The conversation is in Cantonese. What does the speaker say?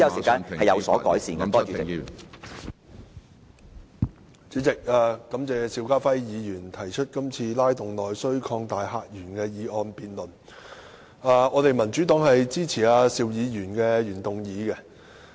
主席，感謝邵家輝議員提出今次"拉動內需擴大客源"的議案辯論，民主黨支持邵議員的原議案。